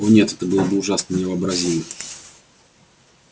о нет это было бы ужасно невообразимо